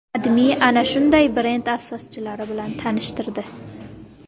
AdMe ana shunday brend asoschilari bilan tanishtirdi .